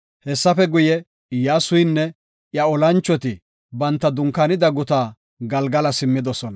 Hessafe guye, Iyyasuynne iya olanchoti banta dunkaanida guta Galgala simmidosona.